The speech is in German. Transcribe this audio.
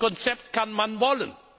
Dieses Konzept kann man